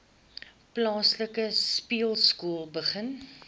plaaslike speelskool begin